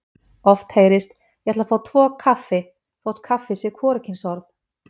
Oft heyrist: Ég ætla að fá tvo kaffi þótt kaffi sé hvorugkynsorð.